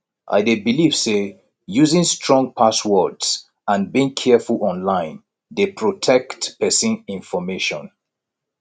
i dey believe say using strong passwords and being careful online dey protect pesin information